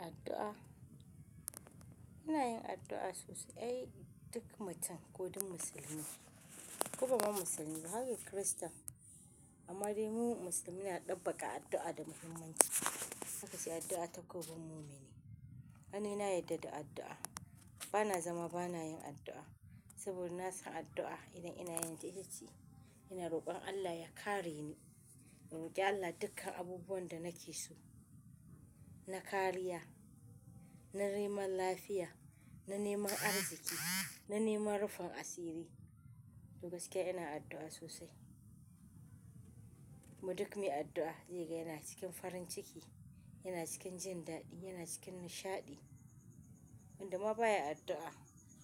Addu'a. Ina yin addu'a sosai, ai duk mutum ko dun musulmi, ko babban musulmi ko haka Kirista, amma dai mu musulmi na ɗabbaka addu'a da muhimmanci. Haka sai addu'a ta ko bun mumini. Hanina yadda da addu'a. Bana zama bana yin addu'a. Saboda na san addu'a idan ina yanke ishici, ina roƙon Allah ya kare ni. In roki Allah dukkan abubuwan da nake so. Na kariya, na neman lafiya, na neman arziki, na neman rufin asiri. Duk da gaske ina addu'a sosai. Mu duk mun yi addu'a, ziyaga yana cikin farin ciki, yana cikin jin daɗi, yana cikin nishaɗi. Wanda ma baya addu'a,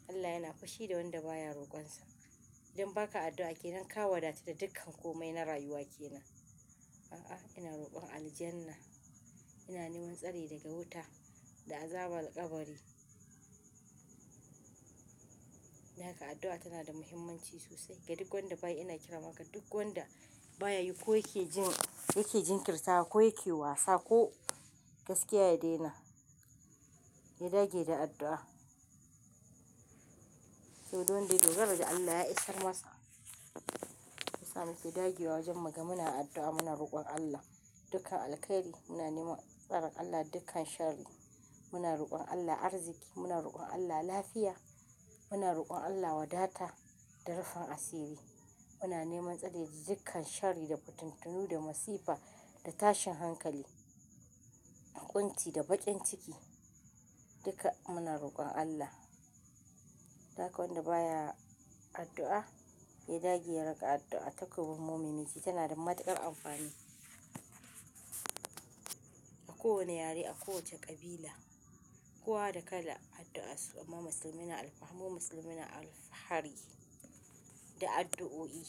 Allah yana fushi da wanda baya roƙonsa. Don haka addu'a ke nan ka wadata da dukkan kome na rayuwake nan. A'a, ina roƙon aljanna. Ina neman tsari daga wuta da azaban ƙabari. Don haka addu'a tana da muhimmanci sosai. Ga duk wanda baya ina kira maka, duk wanda baya yi ko yake jin, yake jin kirtawa ko yake wasa ko gaskiya ya daina, ya dage da addu'a. Saboda duk da gari Allah ya isar masa. Musamman sai dage wa wajen maka muna addu'a muna roƙon Allah dukkan alkhairi, muna neman tsarin Allah dukkan sharri, muna roƙon Allah arziki, muna roƙon Allah lafiya, muna roƙon Allah wadata da rufa asiri. Muna neman tsari da dukkan sharri da fituntunu da masifa da tashin hankali, ƙunci da baƙin ciki. Duka muna roƙon Allah. Daga wanda baya addu'a, ya dage ya rage addu'a ta ko bun mumiminki tana da matuƙar amfani. A kowane yare, a kowace ƙabila, kowa da kalan addu'a su, amma musulmina alfah, mu musulmina alfahari da addu'o'i,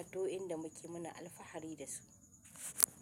addu'o'in da muke muna alfahari da su.